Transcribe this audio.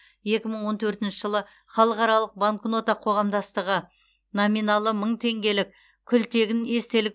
екі мың он төртінші жылы халықаралық банкнота қоғамдастығы номиналы мың теңгелік күлтегін естелік